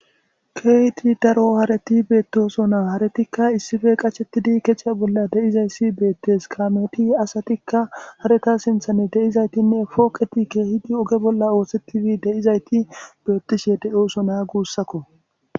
Kegipe daro hareti betosona haretikka issipe qashetidi kecha bolla de'izays betes kameti asatikka hareta sinthanikka de'zaytinne poqeti kehidi oge bolla osetidi de'izayti betishe de'osona gusakko